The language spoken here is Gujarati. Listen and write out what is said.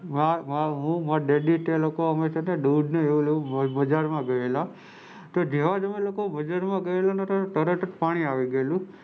મુ અને માં daddy બજાર માં ઘયેલા અને જેવાજ અમે બજાર માં ગયા એવુજ પાણી આવી ગયેલું.